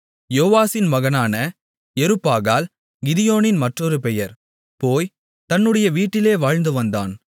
யோவாசின் மகனான யெருபாகால் கிதியோனின் மற்றொரு பெயர் போய் தன்னுடைய வீட்டிலே வாழ்ந்து வந்தான்